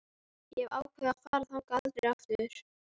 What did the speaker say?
Ég hef ákveðið að fara þangað aldrei aftur.